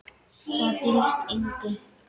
Það dylst engum.